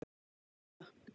Allt í fína